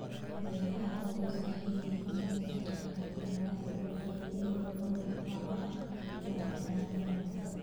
Beeraha ay qoysku leeyihiin waxay ka qaybqaataan wanaagga bulshada iyagoo kor u qaadaya madaxbannaanida cuntada.